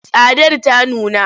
Tsadar ta nuna.